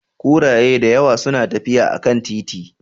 Kuraye da yawa suna tafiya a kan titi.